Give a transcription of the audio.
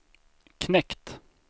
knekt